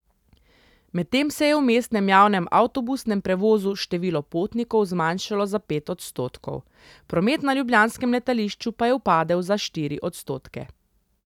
Medtem se je v mestnem javnem avtobusnem prevozu število potnikov zmanjšalo za pet odstotkov, promet na ljubljanskem letališču pa je upadel za štiri odstotke.